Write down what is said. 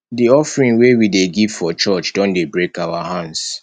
di offering wey we dey give for church don dey break our hands